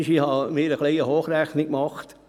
Ich habe eine kleine Hochrechnung gemacht.